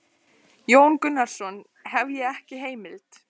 Jón Gunnarsson: Hef ég ekki heimild?